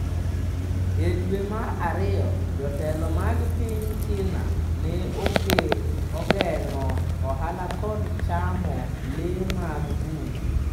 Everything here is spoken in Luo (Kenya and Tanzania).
E dwe mar ariyo, jotelo mag piny China ne ogeng'o ohala kod chamo lee mag bungu.